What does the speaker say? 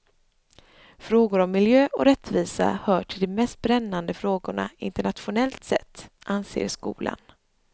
Frågor om miljö och rättvisa hör till de mest brännande frågorna internationellt sett, anser skolan.